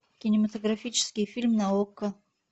кинематографический фильм на окко